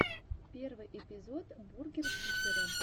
первый эпизод бургер фифера